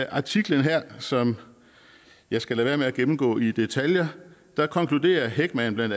artiklen her som jeg skal lade være med at gennemgå i detaljer konkluderer heckman bla